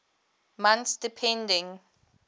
months depending